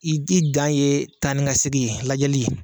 I i dan ye taa ni ka segin ye lajɛli.